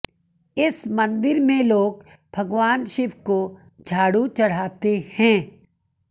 इस मंदिर में लोग भगवान शिव को झाड़ू चढ़ाते हैं